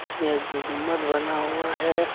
इसमें गु गुम्बद बना हुआ है।